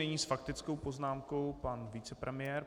Nyní s faktickou poznámkou pan vicepremiér.